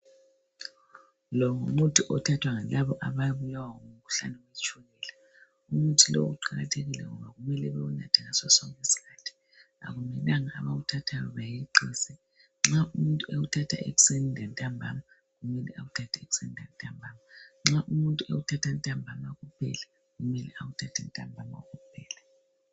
Lo ngumuthi othathwa yilaba ababulawa ngumkhuhlane wetshukela umuthi lo uqakathekile ngoba kumele bewunathe ngaso sonke isikhathi akumelanga abawuthathayo bayeqise nxa umuntu ewuthatha ekuseni lantambama Kumele ewuthathe ekuseni lantambama nxa wuthatha ntambama kuphela kumele awuthathe ntambama kuphela